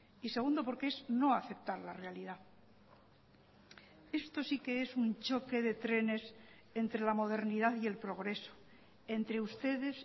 y segundo porque es no aceptar la realidad esto sí que es un choque de trenes entre la modernidad y el progreso entre ustedes